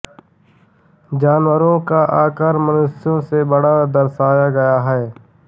जानवरों का आकार मनुष्यों से बड़ा दर्शाया गया है